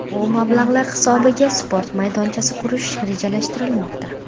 Bu mablag‘lar hisobiga sport maydonchasi qurish rejalashtirilmoqda.